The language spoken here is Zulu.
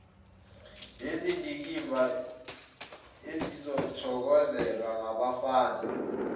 nezindikimba ezithokozelwa ngabafana